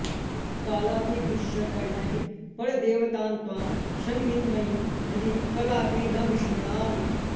कालादिभिश्च करणैः परदेवतान्त्वां संविन्मयीं हृदि कदापि न विस्मरामि